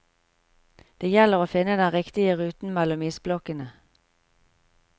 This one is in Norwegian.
Det gjelder å finne den riktige ruten mellom isblokkene.